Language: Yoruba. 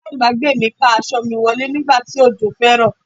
Aláàbágbé mi ká aṣọ mi wọlé nígbà tí òjò fẹ́ rọ̀.